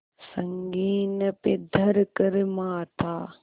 संगीन पे धर कर माथा